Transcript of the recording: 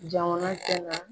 Jamana tɛ na